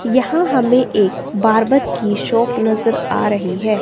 यहां हमें एक बारबर की शॉप नजर आ रही है।